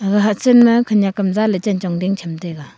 aga hahchenma khenyak am chanchong jing cham taiga.